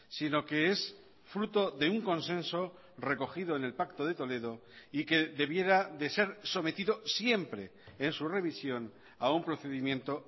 sino que es fruto de un consenso recogido en el pacto de toledo y que debiera de ser sometido siempre en su revisión a un procedimiento